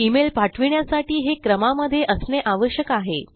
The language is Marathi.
ईमेल पाठविण्यासाठी हे क्रमा मध्ये असणे आवश्यक आहे